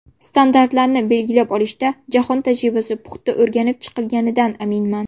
Standartlarni belgilab olishda jahon tajribasi puxta o‘rganib chiqilganidan aminman.